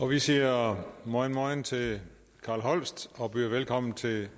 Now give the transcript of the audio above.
vi siger mojn mojn til carl holst og byder velkommen til